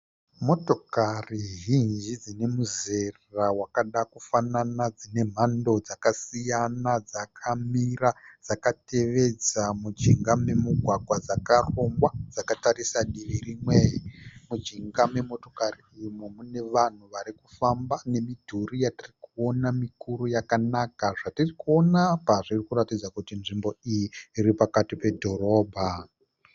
Motokari zhinji dzine muzera wakada kufafana dzine mhando dzakasiyana dzakamira dzakatevedza munjinga memugwagwa dzakarongwa dzakatarisa mdivi rimwe. Munjinga memotokari umu mune vanhu vari kufamba nemidhuru yatiri kuona mikuru yakanaka. Zvatiri kuona apa zvirikuratidza kuti nzvimbo iyi iri pakati pedhorobha.